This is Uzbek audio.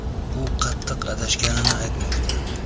U qattiq adashganini aytmoqda.